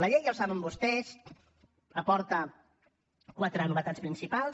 la llei ja ho saben vostès aporta quatre novetats principals